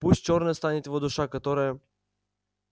пусть чёрной станет его душа которая